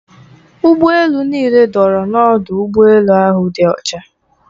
Ụgbọ elu niile dọrọ n'ọdụ ụgbọ elu ahụ dị ọcha.